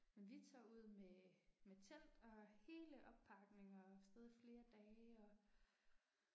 Men vi tager ud med med telt og hele oppakning og er afsted i flere dage og